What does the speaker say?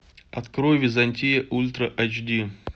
открой византия ультра айч ди